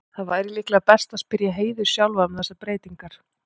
Það væri líklega best að spyrja Heiðu sjálfa um þessar breytingar.